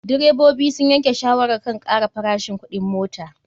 Direbobi sun yanke shawarar kan kara farashin kuɗin mota.